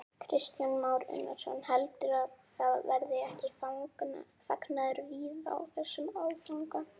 Kristján Már Unnarsson: Heldurðu að það verði ekki fagnaður víða á þessum áfanga?